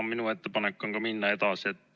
Ka minu ettepanek on minna edasi.